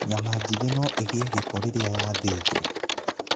Nyama jĩthĩ no ĩgie gĩko rĩrĩa yathĩjo.